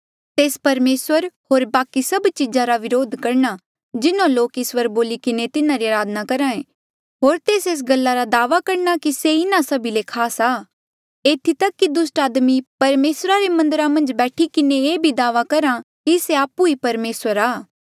तेस परमेसर होर बाकि सभ चीजा रा विरोध करणा जिन्हों लोक इस्वर बोली किन्हें तिन्हारी अराधना करहे होर तेस एस गल्ला रा दावा करणा कि से इन्हा सभी ले खास आ एथी तक कि दुस्ट आदमी परमेसरा रे मन्दरा मन्झ बैठी किन्हें ये भी दावा करहा कि से आपु ई परमेसर आ